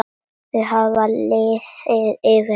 Það hafði liðið yfir hana!